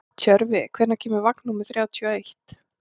Tjörfi, hvenær kemur vagn númer þrjátíu og eitt?